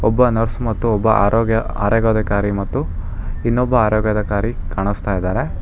ಒಬ್ಬ ನರ್ಸ್ ಮತ್ತೆ ಆರೋಗ್ಯ ಆರೋಗ್ಯ ಅಧಿಕಾರಿ ಮತ್ತು ಇನ್ನೊಬ್ಬ ಆರೋಗ್ಯ ಅಧಿಕಾರಿ ಕಾಣಿಸ್ತಾ ಇದಾರೆ.